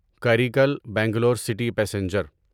Karaikal Bangalore city passenger